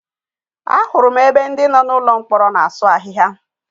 A hụrụ m ebe ndị nọ n'ụlọ mkpọrọ na-asụ ahịhịa.